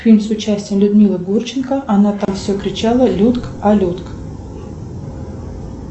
фильм с участием людмилы гурченко она там все кричала людк а людк